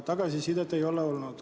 Tagasisidet ei ole tulnud.